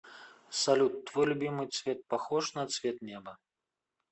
салют твой любимый цвет похож на цвет неба